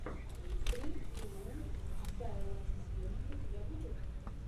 стринг трио сайлэнзиум у тебя будет